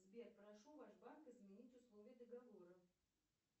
сбер прошу ваш банк изменить условия договора